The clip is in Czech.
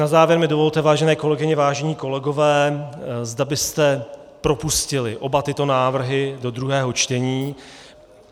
Na závěr mi dovolte, vážené kolegyně, vážení kolegové, zda byste propustili oba tyto návrhy do druhého čtení.